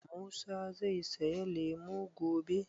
Musa zai saya lemu gobe?